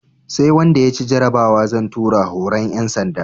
Sai wanda ya ci jarabawa zan tura horon ƴan sanda